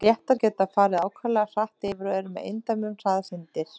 léttar geta farið ákaflega hratt yfir og eru með eindæmum hraðsyndir